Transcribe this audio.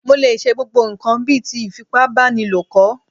Mo lè ṣe gbogbo ǹkan bíi ti ìfipábánilo kọ̀